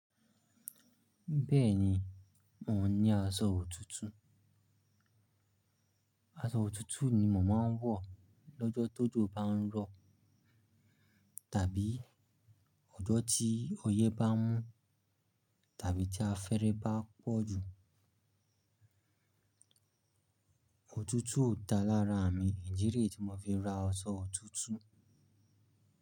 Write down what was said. Bẹ́ẹ̀ni, mò ń ní aṣọ òtútù. Aṣọ òtútù ni mò máa ń wọ̀ lọ́jọ́ tó jo ba ń rọ̀ tàbí ọjọ́ tí ọyẹ́ bá mú tàbí tí afẹ́rẹ́ bá pọ̀ jù. Òtútù Òda lára mì idi re tí mo fi ra aṣọ òtútù.